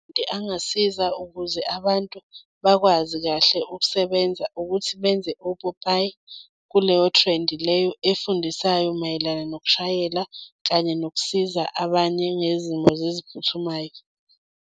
Into angasiza ukuze abantu bakwazi kahle ukusebenza ukuthi benze opopayi kuleyo trend leyo efundisayo mayelana nokushayela, kanye nokusiza abanye ngezimo zeziphuthumayo.